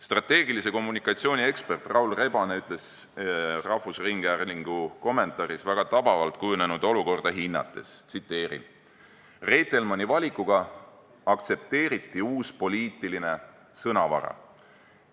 Strateegilise kommunikatsiooni ekspert Raul Rebane ütles rahvusringhäälingu kommentaaris kujunenud olukorda väga tabavalt hinnates: "Reitelmanni valikuga aktsepteeriti uus poliitiline sõnavara.